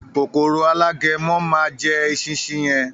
“Kòkòrò Alágẹmọ” má a jẹ “esinsin” yẹn.